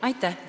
Aitäh!